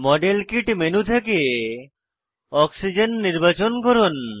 model kit menu থেকে oxygen নির্বাচন করুন